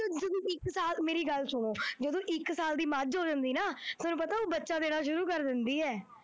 ਹੁਣ ਦੋਨੋਂ ਇੱਕ ਸਾਥ ਮੇਰੀ ਗੱਲ ਸੁਣੋ, ਜਦੋਂ ਇੱਕ ਸਾਲ ਦੀ ਮੱਝ ਹੋ ਜਾਂਦੀ ਹੈ ਨਾ, ਫੇਰ ਪਤਾ ਉਹ ਬੱਚਾ ਦੇਣਾ ਸ਼ੁਰੂ ਕਰ ਦਿੰਦੀ ਹੈ।